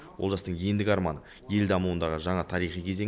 олжастың ендігі арманы ел дамуындағы жаңа тарихи кезеңі